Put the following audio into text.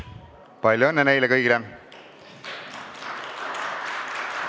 Palju õnne neile kõigile!